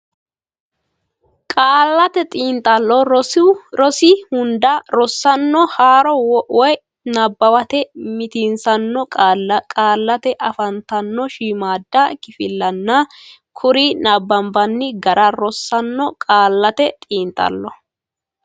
Qaallate Xiinxallo rosi hunda rosaano haaro woy nabbawate mitiinsitanno qaalla qaallate afantanno shiimmaadda kifillanna kuri nabbanbanni gara rossanno Qaallate Xiinxallo.